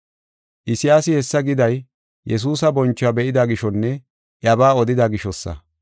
Isayaasi hessa giday, Yesuusa bonchuwa be7ida gishonne iyabaa odida gishosa.